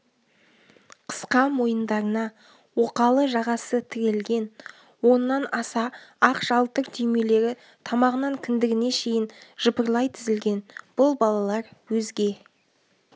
қысқа мойындарына оқалы жағасы тірелген он-нан аса ақ жалтыр түймелері тамағынан кіндігіне шейін жыпырлай тізілген бұл балалар өзге